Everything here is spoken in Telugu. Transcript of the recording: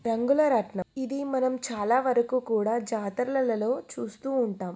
రంగుల రత్నం ఇది మనం చాలా వరకు కూడా జాతరలల్లో చూస్తూ ఉంటాం.